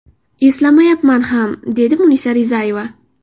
Eslamayapman ham”, dedi Munisa Rizayeva.